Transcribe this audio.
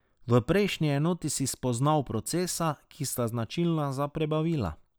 V prejšnji enoti si spoznal procesa, ki sta značilna za prebavila.